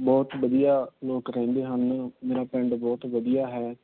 ਬਹੁਤ ਵਧੀਆ ਲੋਕ ਰਹਿੰਦੇ ਹਨ। ਮੇਰਾ ਪਿੰਡ ਬਹੁਤ ਵਧੀਆ ਹੈ।